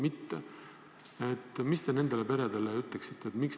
Mida te nendele peredele ütleksite?